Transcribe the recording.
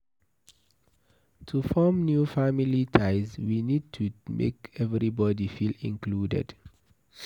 To form new family ties we need to make everybody feel included